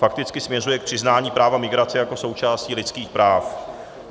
Fakticky směřuje k přiznání práva migrace jako součásti lidských práv.